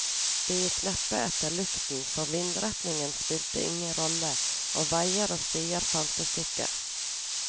De gikk neppe etter lukten, for vindretningen spilte ingen rolle, og veier og stier fantes ikke.